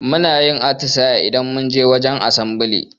Munayin atisaye idan munje wajen asambali